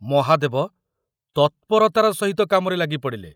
ମହାଦେବ ତତ୍‌ପରତାର ସହିତ କାମରେ ଲାଗିପଡ଼ିଲେ।